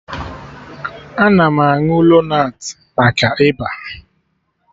Ana m aṅụ lonat maka Ịba